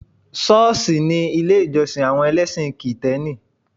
Ṣọ́ọ̀ṣì ni ilé ìjọ́sìn àwọn ẹlẹ́sìn kìtẹ́nì